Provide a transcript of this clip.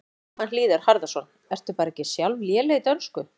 Jóhann Hlíðar Harðarson: Ertu bara ekki sjálf léleg í dönsku?